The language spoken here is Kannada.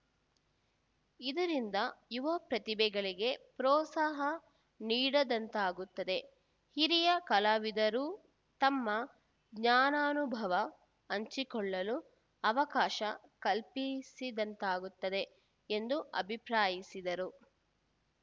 ಇದರಿಂದ ಯುವ ಪ್ರತಿಭೆಗಳಿಗೆ ಪ್ರೋತ್ಸಾಹ ನೀಡಿದಂತಾಗುತ್ತದೆ ಹಿರಿಯ ಕಲಾವಿದರೂ ತಮ್ಮ ಜ್ಞಾನಾನುಭವ ಹಂಚಿಕೊಳ್ಳಲು ಅವಕಾಶ ಕಲ್ಪಿಸಿದಂತಾಗುತ್ತದೆ ಎಂದು ಅಭಿಪ್ರಾಯಿಸಿದರು